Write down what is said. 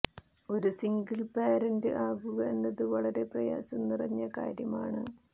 ഒരു single parent ആകുക എന്നത് വളരെ പ്രയാസം നിറഞ്ഞ കാര്യമാണ്